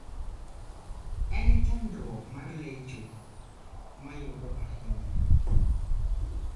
En chandruok mar lecho ma yudo ahinya.